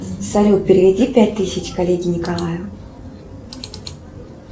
салют переведи пять тысяч коллеге николаю